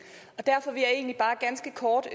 og derfor vil jeg egentlig bare ganske kort